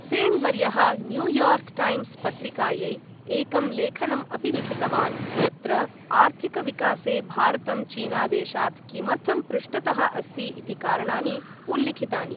सेन् वर्यः New York Times पत्रिकायै एकं लेखनम् अपि लिखितवान्, यत्र आर्थिकविकासे भारतं चीनादेशात् किमर्थं पृष्ठतः अस्ति इति कारणानि उल्लिखितानि।